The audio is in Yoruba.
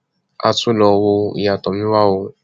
a tún lọọ wo ìyá tomiwa o